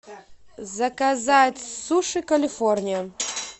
заказать суши калифорния